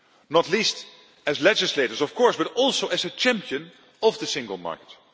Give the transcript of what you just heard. Not least as legislators, of course, but also as a champion of the single market.